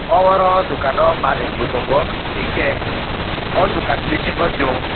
oro dogano malik bo tongo hingke o dokan ni bisingo chong.